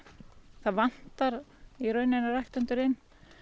það vantar í rauninni ræktendur inn